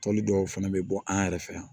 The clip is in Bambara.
Tɔli dɔw fɛnɛ bɛ bɔ an yɛrɛ fɛ yan